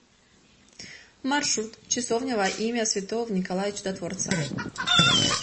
маршрут часовня во имя святого николая чудотворца